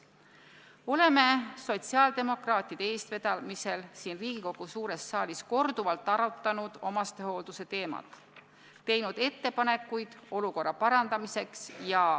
Oleme sotsiaaldemokraatide eestvedamisel siin Riigikogu suures saalis korduvalt arutanud omastehoolduse teemat, teinud ettepanekuid olukorra parandamiseks.